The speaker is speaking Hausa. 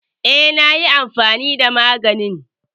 Eh na yi amfani da maganin.